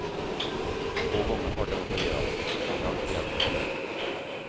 Två gånger har den opererats, men det har inte hjälpt.